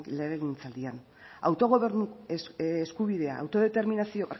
legegintzaldian autogobernu eskubidea barkatu